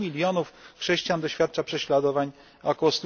100 milionów chrześcijan doświadcza prześladowań, a ok.